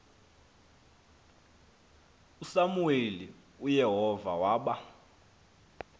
usamuweli uyehova waba